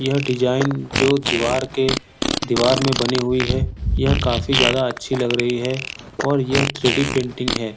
यह डिजाईन जो दिवार के दिवार में बनी हुई है। यह काफी ज्यादा अच्छी लग रही है और यह थ्री डी पेंटिंग है।